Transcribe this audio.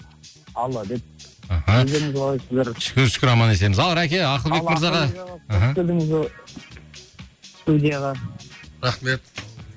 алла деп аха өздеріңіз қалайсыздар шүкір шүкір аман есенбіз ал рәке ақылбек мырзаға іхі қош келдіңіз ы студияға рахмет